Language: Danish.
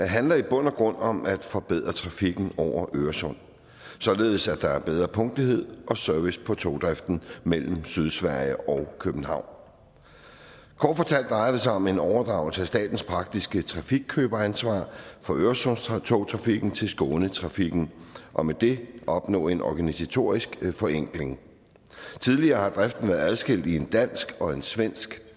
handler i bund og grund om at forbedre trafikken over øresund således at der er bedre punktlighed og service på togdriften mellem sydsverige og københavn kort fortalt drejer det sig om en overdragelse af statens praktiske trafikkøberansvar for øresundstogtrafikken til skånetrafiken og med det at opnå en organisatorisk forenkling tidligere har driften været adskilt i en dansk og en svensk